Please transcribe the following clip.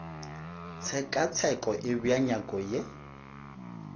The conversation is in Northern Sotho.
tshekatsheko e bea nyako ye